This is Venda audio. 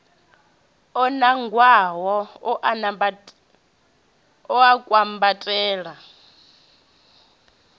o nangwaho u a kwambatela